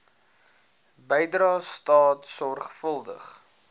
bydrae staat sorgvuldig